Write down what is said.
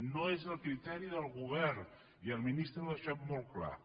no és el criteri del govern i el ministre ho ha deixat molt clar